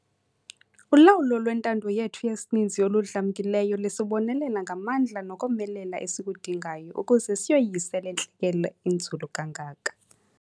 Ulawulo lwentando yethu yesininzi oludlamkileyo lusibonelela ngamandla nokomelela esikudingayo ukuze siyoyise le ntlekele inzulu kangaka.